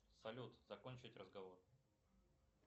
салют закончить разговор